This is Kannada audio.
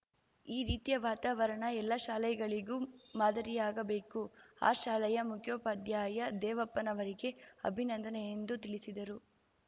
ಈ ರೀತಿಯ ವಾತಾವರಣ ಎಲ್ಲ ಶಾಲೆಗಳಿಗೂ ಮಾದರಿಯಾಗಬೇಕು ಆ ಶಾಲೆಯ ಮುಖ್ಯೋಪಾಧ್ಯಾಯ ದೇವಪ್ಪನವರಿಗೆ ಅಭಿನಂದನೆ ಎಂದು ತಿಳಿಸಿದರು